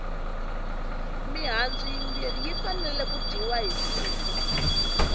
mihandzu yimbirhi yi fanele ku dyiwa hi siku